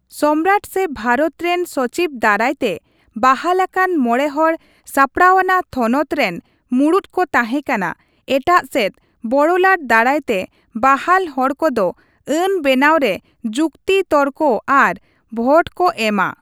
ᱥᱚᱢᱨᱟᱴ ᱥᱮ ᱵᱷᱟᱨᱚᱛ ᱨᱮᱱ ᱥᱚᱪᱤᱵᱽ ᱫᱟᱨᱟᱭᱛᱮ ᱵᱟᱦᱟᱞ ᱟᱠᱟᱱ ᱢᱚᱬᱮ ᱦᱚᱲ ᱥᱟᱯᱲᱟᱣᱱᱟ ᱛᱷᱚᱱᱚᱛ ᱨᱮᱱ ᱢᱩᱲᱩᱫ ᱠᱚ ᱛᱟᱦᱮᱸᱠᱟᱱᱟ, ᱮᱴᱟᱜ ᱥᱮᱫ ᱵᱚᱲᱚᱞᱟᱴ ᱫᱟᱨᱟᱭᱛᱮ ᱵᱟᱦᱟᱞ ᱦᱚᱲ ᱠᱚᱫᱚ ᱟᱹᱱ ᱵᱮᱱᱟᱣ ᱨᱮ ᱡᱩᱠᱛᱤᱼᱛᱚᱨᱠᱚ ᱟᱨ ᱵᱷᱚᱴ ᱠᱚ ᱮᱢᱟ ᱾